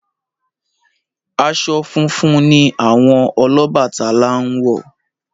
Aṣọ funfun ni àwọn Ọlọ́bàtálá ń wọ̀.